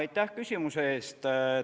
Aitäh küsimuse eest!